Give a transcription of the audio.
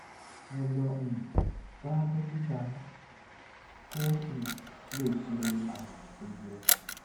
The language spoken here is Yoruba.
ẹ lọ um bá dókítà yín kó um lè ṣe àyẹwò tó yẹ